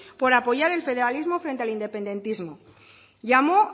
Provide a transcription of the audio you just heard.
por apoyar el federalismo frente al independentismo llamó